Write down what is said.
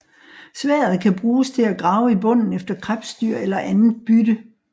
Sværdet kan bruges til at grave i bunden efter krebsdyr eller andet bytte